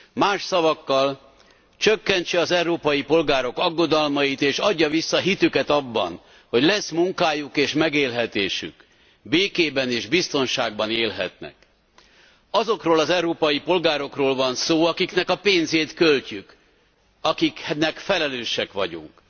Más szavakkal csökkentse az európai polgárok aggodalmait és adja vissza hitüket abban, hogy lesz munkájuk és megélhetésük, békében és biztonságban élhetnek. Azokról az európai polgárokról van szó, akiknek a pénzét költjük, akiknek felelősek vagyunk.